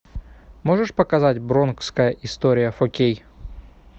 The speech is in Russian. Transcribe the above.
можешь показать бронкская история фор кей